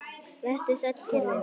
Vertu sæll kæri vinur.